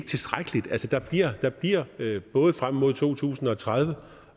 tilstrækkeligt der bliver både frem mod to tusind og tredive